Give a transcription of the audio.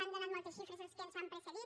han donat moltes xifres els que ens han precedit